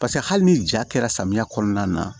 Paseke hali ni ja kɛra samiya kɔnɔna na